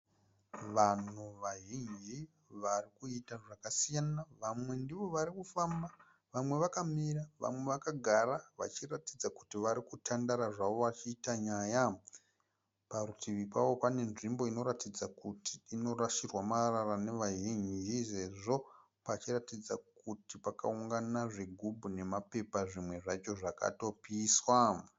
Vanhu vazhinji vari kuita zvakasiyana vamwe ndivo vari kufamba vamwe vakamira vamwe vakagara vachiratidza kuti vari kutandara zvavo vachiita nyaya. Parutivi pavo pane nzvimbo inoratidza kuti inorasirwa marara navazhinji sezvo pachiratidza kuti pakaungana zvigubhu nemapepa zvimwe zvacho zvinotoratidza kuti zvakapiswa.